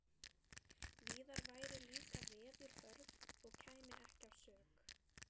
Víðar væru líka veður hörð og kæmi ekki að sök.